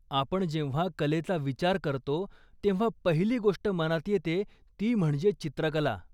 आपण जेव्हा कलेचा विचार करतो, तेव्हा पहिली गोष्ट मनात येते ती म्हणजे चित्रकला.